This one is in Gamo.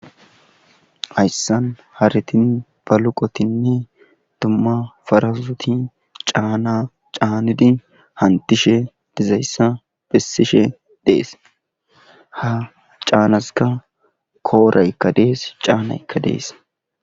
ayssan haritin baluqotinni dumma farasoti caana caanidi hantishe dizayssa bissishe dees ha caanaska kooraykka dees caanaykka dees